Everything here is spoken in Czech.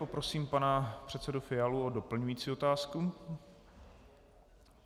Poprosím pana předsedu Fialu o doplňující otázku.